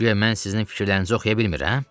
Guya mən sizin fikirlərinizi oxuya bilmirəm?